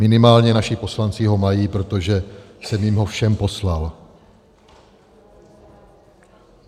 Minimálně naši poslanci ho mají, protože jsem jim ho všem poslal.